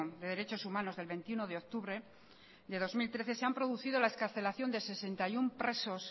de derechos humanos del veintiuno de octubre del dos mil trece se han producido la excarcelación de sesenta y uno presos